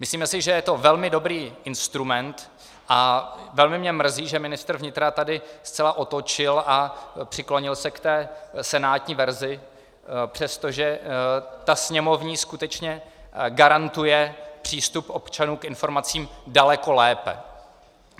Myslíme si, že je to velmi dobrý instrument, a velmi mě mrzí, že ministr vnitra tady zcela otočil a přiklonil se k té senátní verzi, přestože ta sněmovní skutečně garantuje přístup občanům k informacím daleko lépe.